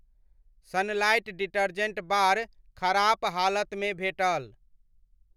Sunlight detergent bar खराप हालत मे भेटल।